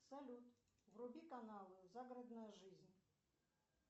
салют вруби канал загородная жизнь